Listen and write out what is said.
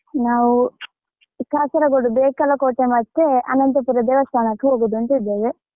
ನಾವು ಕಾಸರಗೋಡು ಬೇಕಲಕೋಟೆ ಮತ್ತೆ ಅನಂತಪುರ ದೇವಸ್ಥಾನಕ್ಕೆ ಹೋಗುದು ಅಂತ ಇದ್ದೇವೆ.